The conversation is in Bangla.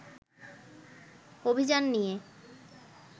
অভিযান নিয়ে